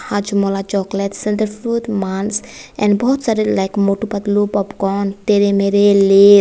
Hajmola chocolates and बहुत सारे like Motu Patlu popcorn Tedhe Medhe Lay's.